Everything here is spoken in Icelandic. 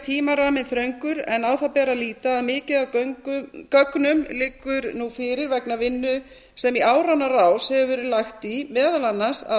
tímaramminn þröngur en á það ber að líta að mikið af gögnum liggur nú fyrir vegna vinnu sem í áranna rás hefur verið lagt í meðal annars af